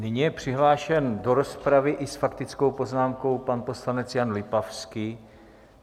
Nyní je přihlášen do rozpravy i s faktickou poznámkou pan poslanec Jan Lipavský.